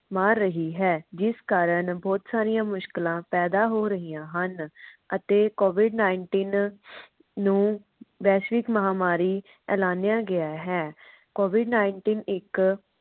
ਮਾਰ ਰਹੀ ਹੈ। ਜਿਸ ਕਾਰਨ ਬਹੁਤ ਸਾਰੀਆਂ ਮੁਸ਼ਕਿਲਾ ਪੈਦਾ ਹੋ ਰਹੀਆਂ ਹਨ ਅਤੇ covid nineteen ਨੂੰ ਵੈਸ਼ਵਿਕ ਮਹਾਮਾਰੀ ਐਲਾਨਿਆ ਗਿਆ ਹੈ। covid nineteen ਇਕ